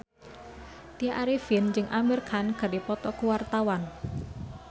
Tya Arifin jeung Amir Khan keur dipoto ku wartawan